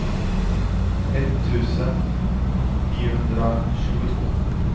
etttusen niohundratjugotvå